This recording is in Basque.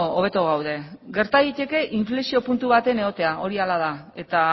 hobeto gaude gerta daiteke inflexio puntu baten egotea hori hala da eta